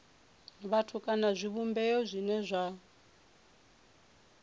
vhathu kana zwivhumbeo zwine zwa